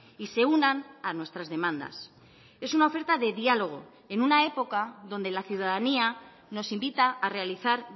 y se unan a nuestras demandas es una oferta de diálogo en una época donde la ciudadanía nos invita a realizar